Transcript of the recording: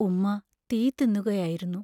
ഉമ്മാ തീ തിന്നുകയായിരുന്നു.